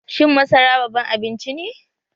Shin masara baban abinci ne?